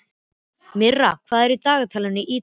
Myrra, hvað er í dagatalinu í dag?